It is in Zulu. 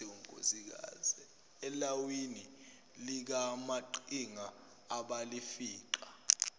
elawini likamaqhinga abalifica